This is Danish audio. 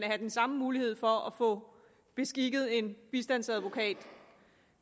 have den samme mulighed for at få beskikket en bistandsadvokat